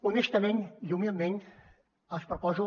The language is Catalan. honestament i humilment els proposo